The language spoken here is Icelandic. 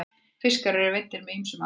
fiskar eru veiddir með ýmsum aðferðum